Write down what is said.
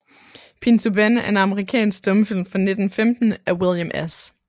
Pinto Ben er en amerikansk stumfilm fra 1915 af William S